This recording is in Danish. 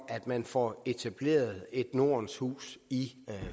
at man får etableret et nordens hus i